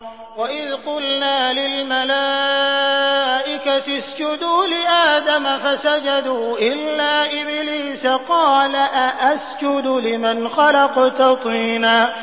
وَإِذْ قُلْنَا لِلْمَلَائِكَةِ اسْجُدُوا لِآدَمَ فَسَجَدُوا إِلَّا إِبْلِيسَ قَالَ أَأَسْجُدُ لِمَنْ خَلَقْتَ طِينًا